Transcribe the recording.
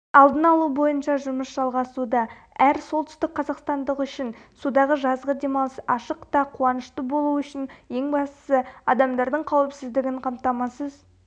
алдын алу бойынша жұмыс жалғасуда әр солтүстік қазақстандық үшін судағы жазғы демалыс ашық та қуанышты болу үшін ең бастысы адамдардың қауіпсіздігін қамтамасыз